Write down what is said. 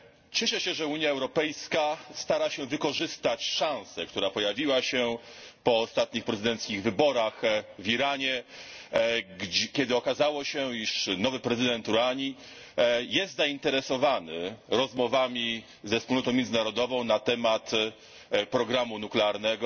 Cieszę się, że Unia Europejska stara się wykorzystać szansę, która pojawiła się po ostatnich prezydenckich wyborach w Iranie, kiedy okazało się, iż nowy prezydent Rouhani jest zainteresowany rozmowami ze wspólnotą międzynarodową na temat programu nuklearnego.